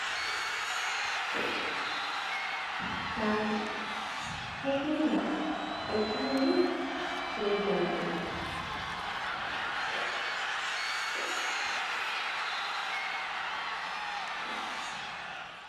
Saare, mahinga, ɗo tarni be jamɗe.